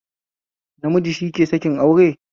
Namiji shike sakin aure